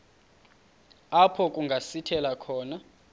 apho kungasithela khona